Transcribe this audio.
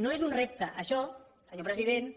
no és un repte això senyor president